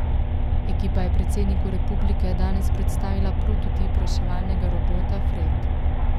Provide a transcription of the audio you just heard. Ekipa je predsedniku republike danes predstavila prototip reševalnega robota Fred.